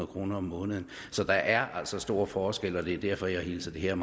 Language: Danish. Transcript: kroner om måneden så der er altså stor forskel og det er derfor at jeg hilser det her